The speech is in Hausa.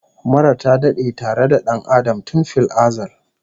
Mura ta dade tare da dan Adam tun fil azal